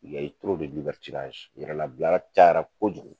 yɛrɛlabilaya caya la kojugu.